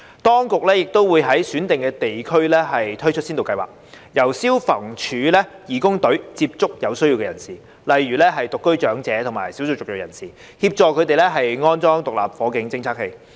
當局亦會在選定地區推出先導計劃，由消防處義工隊接觸有需要人士，例如獨居長者及少數旅裔人士，協助他們安裝獨立火警偵測器。